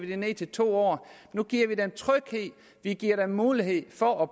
det ned til to år nu giver vi dem tryghed vi giver dem mulighed for